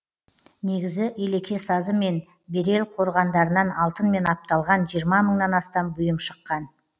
негізі елеке сазы мен берел қорғандарынан алтынмен апталған жиырма мыңнан астам бұйым шыққан